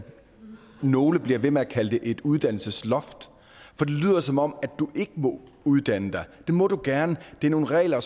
nogle bliver ved med at kalde det et uddannelsesloft for det lyder som om du ikke må uddanne dig og det må du gerne det er nogle regler